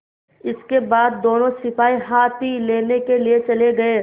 इसके बाद दोनों सिपाही हाथी लेने के लिए चले गए